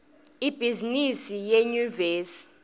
ibhizimisi yenyuvesi